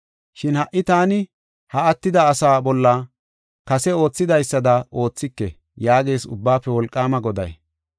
Shin ha77i taani ha attida asaa bolla kase oothidaysada oothike” yaagees Ubbaafe Wolqaama Goday.